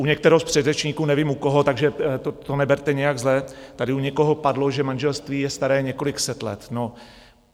U některého z předřečníků, nevím u koho, takže to neberte nijak zle, tady u někoho padlo, že manželství je staré několik set let.